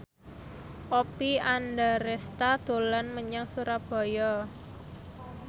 Oppie Andaresta dolan menyang Surabaya